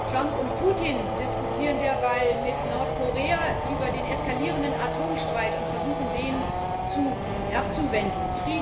Trump und Putin diskutieren derweil mit Nordkorea über den eskalierenden Atomstreit und versuchen, den abzuwenden.